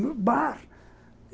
No bar.